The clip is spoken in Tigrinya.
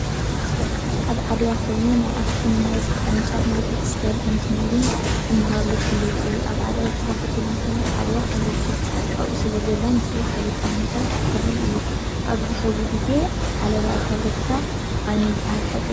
ኣብ ዓድዋ ኮይኑ ናይ ኣክሱም ዩኒቨርስቲ ቅርጫፍ ናይ ቴክስታይል ኢንጅነሪንግ ዝመሃርሉ ኮሌጅ እዩ። ኣብ ዓድዋ ዝተከፈተሉ ምክንያት ዓድዋ ፋብሪካ ኣብኡ ስለዘሎ ምስኡ ሓቢርካ ንምስራሕ ተባሂሉ እዩ። ኣብዚ ሕዚ ግዜ ዓለባ ፋብሪካ ዓንዩ ይበሃል ብሓቂ ድዩ ?